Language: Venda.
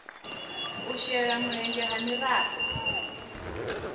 u shela mulenzhe ha miraḓo